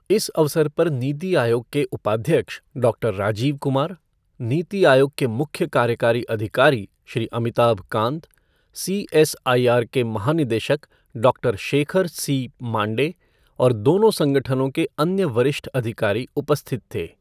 इस अवसर पर नीति आयोग के उपाध्यक्ष डॉक्टर राजीव कुमार, नीति आयोग के मुख्य कार्यकारी अधिकारी श्री अमिताभ कांत, सीएसआईआर के महानिदेशक डॉक्टर शेखर सी मांडे और दोनों संगठनों के अन्य वरिष्ठअधिकारी उपस्थित थे।